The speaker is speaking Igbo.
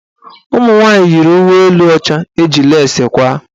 Ụmụnwanyị yiri uwe elu ọcha eji lesi kwaa.